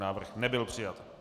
Návrh nebyl přijat.